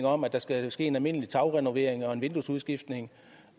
om at der skal ske en almindelig tagrenovering og en vinduesudskiftning